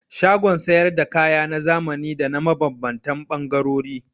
Shagon sayar da kaya na zamani da na mabambantan ɓangarori.